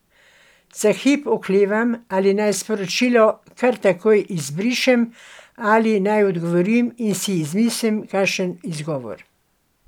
Za hip oklevam ali naj sporočilo kar takoj izbrišem ali naj odgovorim in si izmislim kakšen izgovor.